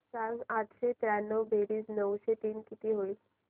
सांग आठशे त्र्याण्णव बेरीज नऊशे तीन किती होईल